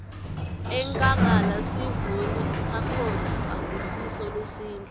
enkhangala sivuno sakhona akusiso lesihle